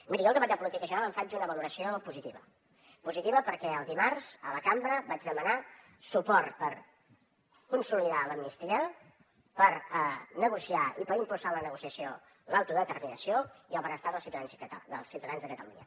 miri jo del debat de política general en faig una valoració positiva positiva perquè el dimarts a la cambra vaig demanar suport per consolidar l’amnistia per negociar i per impulsar la negociació l’autodeterminació i el benestar dels ciutadans de catalunya